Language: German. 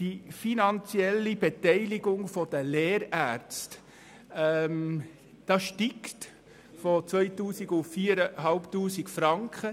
Die finanzielle Beteiligung der Lehrärzte steigt von 2000 auf 4500 Franken.